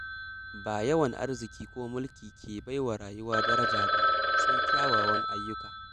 Ba yawan arziki ko mulki ke baiwa rayuwa daraja ba, sai kyawawan ayyuka.